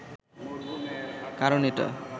কারন এটা